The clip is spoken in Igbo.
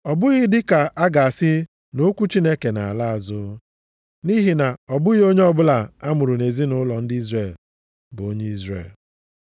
Ọ bụghị dị ka a ga-asị na okwu Chineke na-ala azụ. Nʼihi na ọ bụghị onye ọbụla a mụrụ nʼezinaụlọ ndị Izrel bụ onye Izrel.